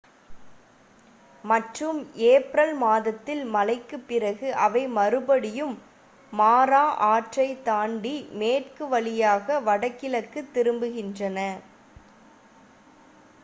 மற்றும் ஏப்ரல் மாதத்தில் மழைக்கு பிறகு அவை மறுபடியும் மாரா ஆற்றைத் தாண்டி மேற்கு வழியாக வடக்கிற்கு திரும்புகின்றன